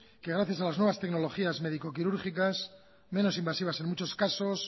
que gracias a las nuevas tecnologías médico quirúrgicas menos invasivas en muchas casos